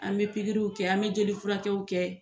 An bɛ pikiriw kɛ, an bɛ jeli furakɛw kɛ.